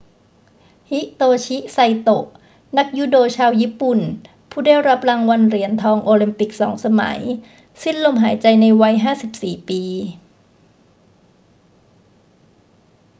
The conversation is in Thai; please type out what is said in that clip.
ฮิโตชิ ไซโตะ นักยูโดชาวญี่ปุ่นผู้ได้รับรางวัลเหรียญทองโอลิมปิก 2 สมัย สิ้นลมหายใจในวัย 54 ปี